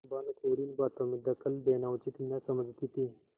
भानुकुँवरि इन बातों में दखल देना उचित न समझती थी